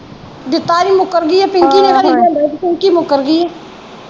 ਦਿੱਤਾ ਨਹੀਂ ਮੁਕਰਗੀ ਆ ਪਿੰਕੀ ਨੇ ਲਿਆਂਦਾ ਹੀ ਤੇ ਪਿੰਕੀ ਮੁਕਰ ਗੀ ਊ।